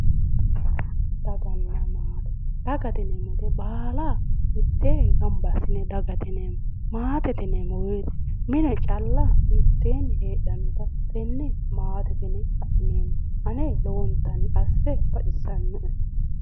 Daganna maate, dagate yineemmo woyiite baala miteeenni gamba assine dagate yineemmo. maatete yineemmo woyiite mine calla mitteenni heedhannota tenne matete yine la'neemmo. ane lowontanni asse baxisannoe.